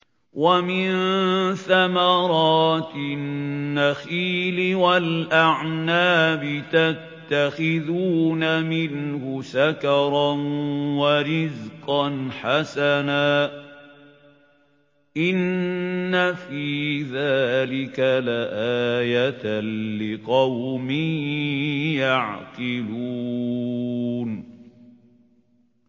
وَمِن ثَمَرَاتِ النَّخِيلِ وَالْأَعْنَابِ تَتَّخِذُونَ مِنْهُ سَكَرًا وَرِزْقًا حَسَنًا ۗ إِنَّ فِي ذَٰلِكَ لَآيَةً لِّقَوْمٍ يَعْقِلُونَ